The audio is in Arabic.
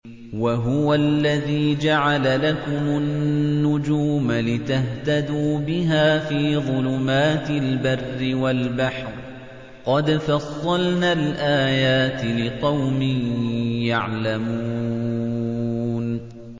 وَهُوَ الَّذِي جَعَلَ لَكُمُ النُّجُومَ لِتَهْتَدُوا بِهَا فِي ظُلُمَاتِ الْبَرِّ وَالْبَحْرِ ۗ قَدْ فَصَّلْنَا الْآيَاتِ لِقَوْمٍ يَعْلَمُونَ